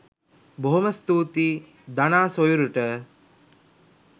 බොහොම ස්තූතියි දනා සොයුරට